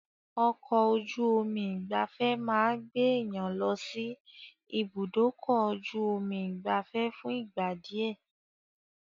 Ọkọ̀-ojú omi ìgbafẹ́ máa gbé èèyàn lọsí ibùdókọ̀-ju-omi ìgbafé fún ìgbà díẹ̀.